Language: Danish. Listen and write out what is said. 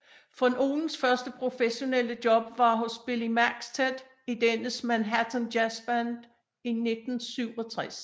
Von Ohlens første professionelle job var hos Billy Maxted i dennes Manhattan Jazzband i 1967